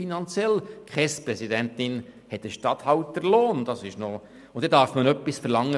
Die KESBPräsidentin hat einen Regierungsstatthalter-Lohn, und deshalb darf man von der KESB etwas verlangen.